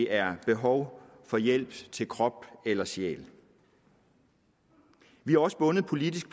er behov for hjælp til krop eller sjæl vi er også bundet politisk